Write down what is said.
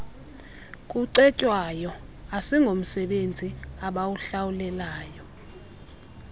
kucetywayo asingomsebenzi abawuhlawulelwayo